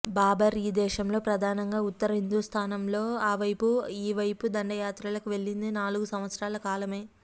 బాబర్ ఈ దేశంలో ప్రధానంగా ఉత్తర హిందూస్థానంలో ఆ వైపు ఈ వైపు దండయాత్రలకు వెళ్లింది నాలుగు సంవత్సరాల కాలమే